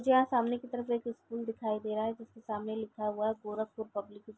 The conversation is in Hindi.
सामने की तरफ एक स्कूल दिखाई दे रहा है जिसके सामने लिखा हुआ है गोरखपुर पब्लिक --